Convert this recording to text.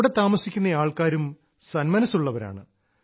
അവിടെ താമസിക്കുന്ന ആൾക്കാരും സന്മനസ്സുള്ളവരാണ്